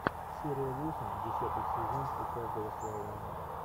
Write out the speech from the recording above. серия восемь десятый сезон у каждого своя война